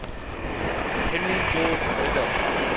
henry george liddell